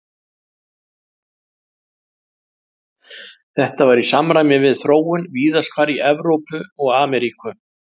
Þetta var í samræmi við þróun víðast hvar í Evrópu og Ameríku.